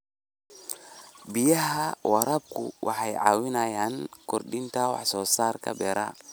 Biyaha waraabku waxay caawiyaan kordhinta wax soo saarka beeraha.